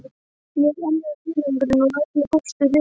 Ég er enn í einangrun og allur póstur ritskoðaður.